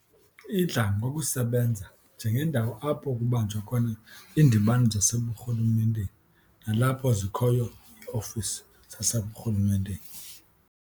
Idla ngokusebenza njengendawo apho kubanjwa khona iindibano zaseburhulumenteni nalapho zikhoyo ii-ofisi zaseburhulumenteni.